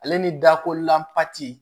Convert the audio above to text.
Ale ni dako lanti